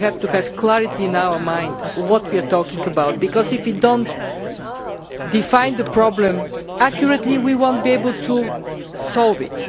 We have to be clear in our minds what we are talking about, because if we do not define the problem accurately, we will not be able to solve it.